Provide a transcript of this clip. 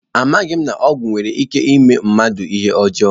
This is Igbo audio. Amaghị m na ọgwụ nwere ike ime mmadụ ihe ọjọọ